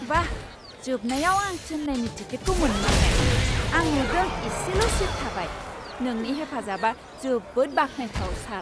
बा! जोबनायाव आं चेन्नाईनि टिकेटखौ मोनमारबाय! आं नुदों इसेल' सिट थाबाय। नोंनि हेफाजाबा जोबोद बाख्नायथाव, सार!